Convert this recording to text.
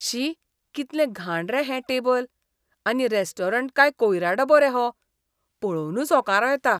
शी! कितलें घाण रे हें टेबल. आनी रॅस्टॉरंट काय कोयरा डबो रे हो. पळोवनूच ओंकारो येता!